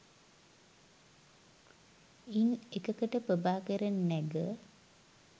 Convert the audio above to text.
ඉන් එකකට ප්‍රභාකරන් නැග